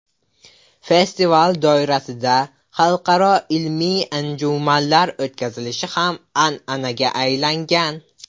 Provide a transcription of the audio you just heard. Festival doirasida xalqaro ilmiy anjumanlar o‘tkazilishi ham an’anaga aylangan.